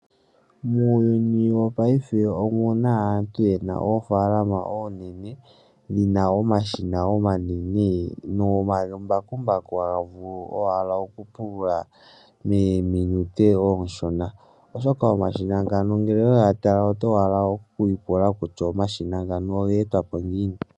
Muuyuni wongaashingeyi omu na aantu ye na oofalama ooonene dhi na omashina omanene nomambakumbaku haya vulu owala okupulula mokathimbo okashona oshoka omashina ngano ngele owe ga tala oto hala owala okwiipula kutya omashina ngano ogeetwapo ngiini.